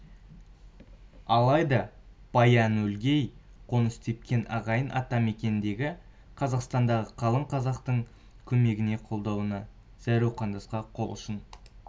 алайда баян-өлгейде қоныс тепкен ағайын ата мекендегі қазақстандағы қалың қазақтың көмегіне қолдауына зәру қандасқа қол ұшын